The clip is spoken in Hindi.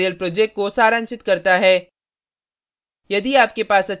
यह spoken tutorial project को सारांशित करता है